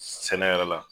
Sɛnɛ yɛrɛ la